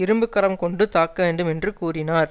இரும்புக்கரம் கொண்டு தாக்க வேண்டும் என்று கூறினார்